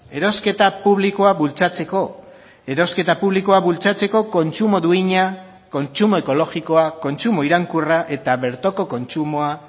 erosketa publikoa bultzatzeko erosketa publikoa bultzatzeko kontsumo duina kontsumo ekologikoa kontsumo iraunkorra eta bertoko kontsumoa